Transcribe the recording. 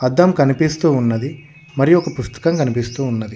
అద్దం కనిపిస్తూ ఉన్నది మరియు ఒక పుస్తకం కనిపిస్తూ ఉన్నది.